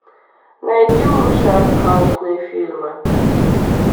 найди лучшие артхаусные фильмы